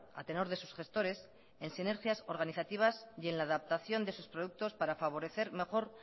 a tenor de sus gestores en sinergias organizativas y en la adaptación de sus productos para favorecer mejor